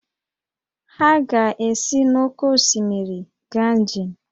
Ha ga-esi n’oké osimiri gaa njem